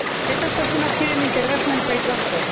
Estas personas quieren integrarse en el País Vasco.